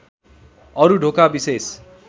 अरू ढोका विशेष